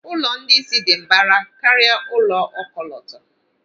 Ụlọ ndị isi dị mbara karịa ụlọ ọkọlọtọ.